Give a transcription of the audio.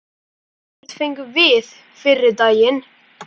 Ekkert fengum við fyrri daginn.